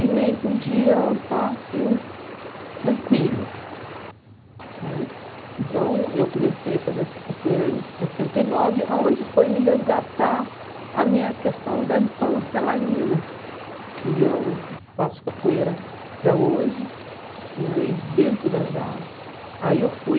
E nem podia estar assim tranquilo né Então, eu comecei a fazer essa capoeira em sessenta e nove, a onde foi me resgatar a minha questão da infância lá em Minas Que eu faço capoeira até hoje né E dentro da da... Aí eu fui...